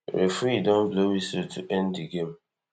referee don blow whistle to end di game